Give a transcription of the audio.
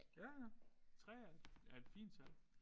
Ja ja 3 er et er et fint tal